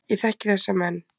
Ég þekki þessa menn.